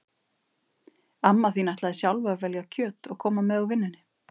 Amma þín ætlaði sjálf að velja kjöt og koma með úr vinnunni